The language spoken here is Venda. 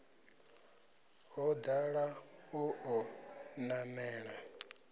ho dala o ḓo namela